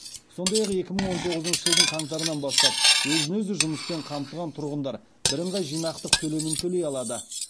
сондай ақ екі мың он тоғызыншы жылдың қаңтарынан бастап өзін өзі жұмыспен қамтыған тұрғындар бірыңғай жинақтық төлемін төлей алады